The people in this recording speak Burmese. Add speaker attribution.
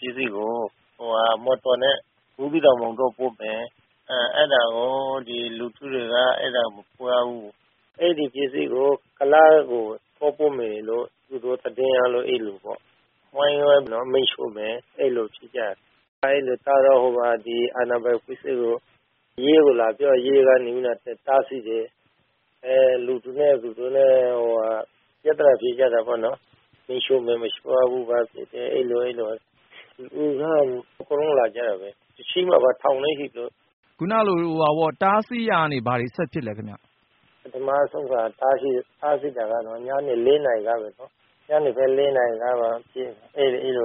Speaker 1: ပစ္စည်းကို မော်တော်နဲ့ ဘူးသီးတောင်၊ မောင်တောပို့မယ်။ အဲဒါကို လူထုတွေက မပို့ရဘူး။ အဲဒီပစ္စည်းကို ကုလားကို သွားပို့မယ်လို့ သူတို့ သတင်းရလို့ အဲလိုပေါ့ သွားဝိုင်းပြီးတော့ မီးရှို့မယ် အဲလို ဖြစ်ကြမယ်။ အဲဒီလို ကျတော့ ဒီ အာဏာပိုင် အဖွဲ့အစည်းတွေကို ရဲကို လာပြော။ ရဲကနေ တားဆီးတယ်။ လူတွေနဲ့ သူတို့နဲ့ ပြသနာ ဖြစ်ကြတာပေါ့နော်။ မီးရှိုှု့မယ် မရှို့ရဘူး။ အဲလို။ လူက အကုန်လုံး လာကြတာဘဲ။ ထောင်နဲ့ချီ ရှိမှာပေါ့။
Speaker 2: တားဆီးရာကနေ ဘာတွေ ဆက်ဖြစ်လဲ ခင်ဗျ။
Speaker 1: ပထမဆုံးက တားဆီးတာကတော့ ညနေ ၄ နာရီလောက်ပေါ့။ ညနေဘက် ၄ နာရီလောက်က အဲဒီက လူ